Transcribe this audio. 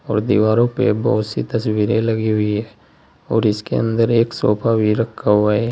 और दीवारों पे बहोत सी तस्वीर लगी हुई है और इसके अंदर एक सोफा भी रखा हुआ है।